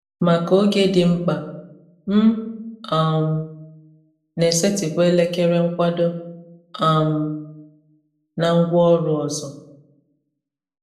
Maka oge dị mkpa, m um na-esetịpụ elekere nkwado um na ngwaọrụ ọzọ.